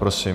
Prosím.